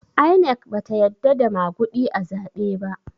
INEC bata yadda da maguɗi a zaɓe ba